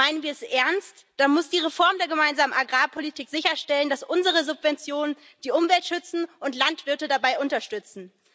Meinen wir es ernst, dann muss die Reform der Gemeinsamen Agrarpolitik sicherstellen, dass unsere Subventionen die Umwelt schützen und Landwirte dabei unterstützen.